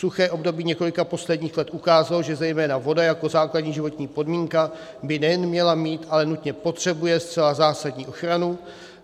Suché období několika posledních let ukázalo, že zejména voda jako základní životní podmínka by nejen měla mít, ale nutně potřebuje zcela zásadní ochranu.